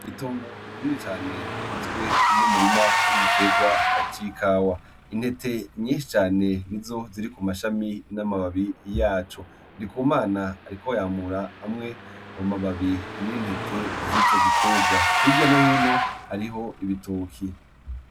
Itongo rini cane rigizwe n’umurima w’igitegwa c’ikawa. Intete nyinshi cane ni zo ziri ku mashami n’amababi yaco. Ndikumana ariko yamura amwe mu mababi n’intete z’ico gitegwa. Hirya no hino hariho ibitoke.